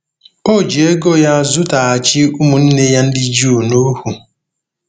O ji ego nke ya zụtaghachi ụmụnne ya ndị Juu nohu.